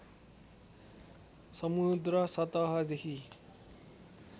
समुद्र सतहदेखि